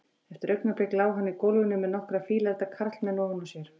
Eftir augnablik lá hann í gólfinu með nokkra fíleflda karlmenn ofan á sér.